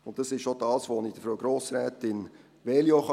Es ist auch das, was ich Frau Grossrätin Veglio sagen kann: